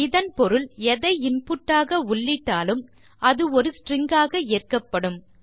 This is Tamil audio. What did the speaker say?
இதன் பொருள் எதை இன்புட் ஆக உள்ளிட்டாலும் அது ஒரு ஸ்ட்ரிங் ஆக ஏற்கப்படும்